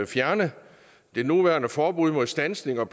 fjerne det nuværende forbud mod standsning og